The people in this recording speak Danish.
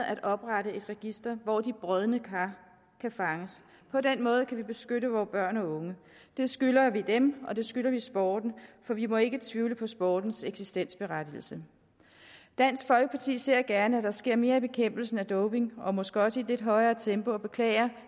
at oprette et register hvor de brodne kar kan fanges på den måde kan vi beskytte vore børn og unge det skylder vi dem og det skylder vi sporten for vi må ikke tvivle på sportens eksistensberettigelse dansk folkeparti ser gerne at der sker mere i bekæmpelsen af doping og måske også i et lidt højere tempo vi beklager